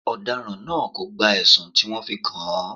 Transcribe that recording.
Ọ̀daràn náà kò gba ẹ̀sùn tí wọ́n fi kàn án.